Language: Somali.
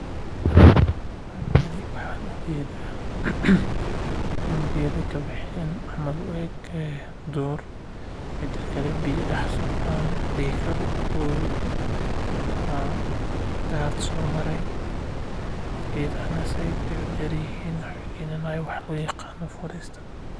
Halkan waxaan ujeeda dul geeda kabexeen oo u eg duur biya dex socdaan wabi ama daad soo mare geedaha sait ayeey udeer yihiin.